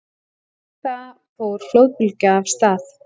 Við það fór flóðbylgja af stað.